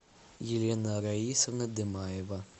елена раисовна демаева